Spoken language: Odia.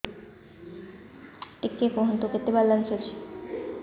ଟିକେ କୁହନ୍ତୁ କେତେ ବାଲାନ୍ସ ଅଛି